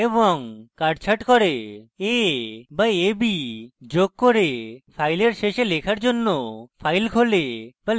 a বা ab = যোগ করে file শেষে লেখার জন্য file খোলে বা লেখার জন্য file তৈরী করে